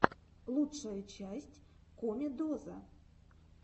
лучшая часть комедоза